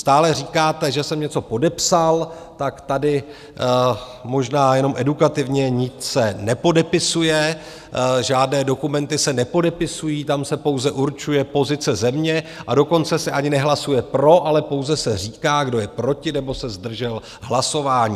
Stále říkáte, že jsem něco podepsal, tak tady možná jenom edukativně - nic se nepodepisuje, žádné dokumenty se nepodepisují, tam se pouze určuje pozice země, a dokonce se ani nehlasuje pro, ale pouze se říká, kdo je proti nebo se zdržel hlasování.